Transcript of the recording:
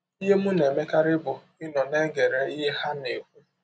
Ihe m na - emekarị bụ ịnọ na - egere ihe ha na - ekwụ.